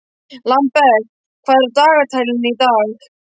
Lambert, hvað er á dagatalinu í dag?